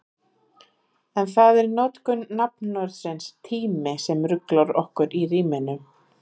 En það er notkun nafnorðsins tími sem ruglar okkur í ríminu.